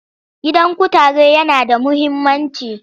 Gidan kutare yana da muhimmanci.